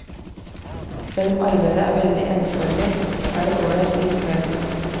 Selv om arbeidet er veldig ensformig, er det ålreit likevel.